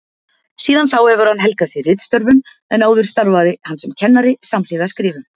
Síðan þá hefur hann helgað sig ritstörfum en áður starfaði hann sem kennari samhliða skrifum.